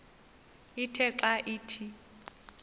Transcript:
ithe xa ithi